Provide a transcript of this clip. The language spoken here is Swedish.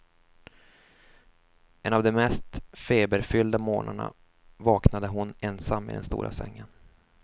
En av de mest feberfyllda morgnarna vaknade hon ensam i den stora sängen.